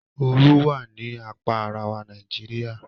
Òòrù wà ní àpá aráwà Nàìjíríà